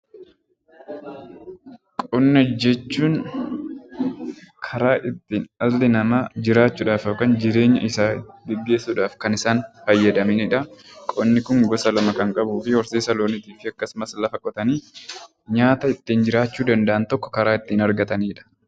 Qonna jechuun karaa itti dhalli namaa jiraachuudhaaf yookiin jireenya isaanii gaggeessuudhaaf kan isaan fayyadamanidha. Qonni kun gosa lama kan qabuufi horsiisa loonii akkasummas lafa qotanii nyaata ittiin jiraachuu danda’an tokko karaa ittiin argatanidha.